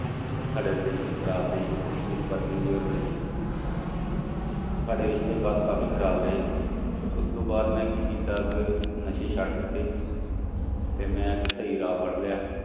ਸਾਡੇ relation ਖ਼ਰਾਬ ਰਹੇ, ਮੇਰੀ ਪਤਨੀ ਦੇ ਔਰ ਮੇਰੇ ਸਾਡੇ ਰਿਸ਼ਤੇ ਕਾ ਕਾਫ਼ੀ ਖ਼ਰਾਬ ਰਹੇ, ਉਸ ਤੋਂ ਬਾਅਦ ਮੈਂ ਕੀ ਕੀਤਾ ਕਿ ਨਸ਼ੇ ਛੱਡ ਦਿੱਤੇ ਤੇ ਮੈਂ ਇੱਕ ਸਹੀ ਰਾਹ ਫੜ ਲਿਆ।